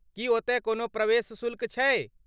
की ओतय कोनो प्रवेश शुल्क छैक?